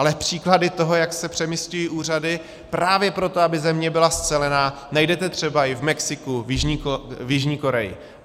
Ale příklady toho, jak se přemisťují úřady právě proto, aby země byla scelená, najdete třeba i v Mexiku, v Jižní Koreji.